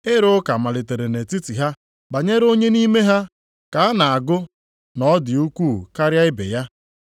Ịrụ ụka malitere nʼetiti ha banyere onye nʼime ha ka a na-agụ na ọ dị ukwuu karịa ibe ya.